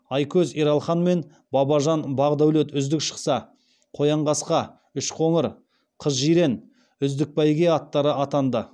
айкөз ералхан мен бабажан бақдәулет үздік шықса қоянқасқа үшқоңыр қызжирен үздік бәйге аттары атанды